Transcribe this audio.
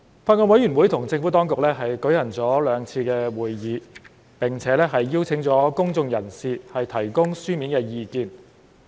法案委員會與政府當局舉行了兩次會議，並且邀請了公眾人士提供書面意見。